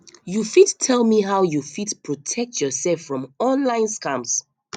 you fit tell me how you fit protect yourself from online scams